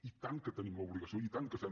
i tant que tenim l’obligació i tant que fem